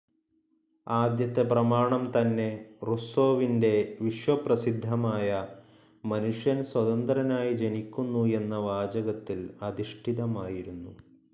ആദ്യത്തെ പ്രമാണം തന്നെ റുസ്സോവിന്റെ വിശ്വപ്രസിദ്ധമായ മനുഷ്യൻ സ്വതന്ത്രനായി ജനിക്കുന്നു എന്ന വാചകത്തിൽ അധിഷ്ഠിതമായിരുന്നു.